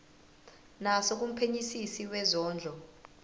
naso kumphenyisisi wezondlo